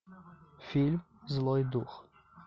фильм злой дух